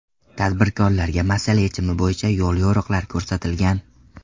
Tadbirkorlarga masala yechimi bo‘yicha yo‘l-yo‘riqlar ko‘rsatilgan.